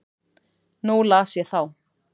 Nú las ég þá.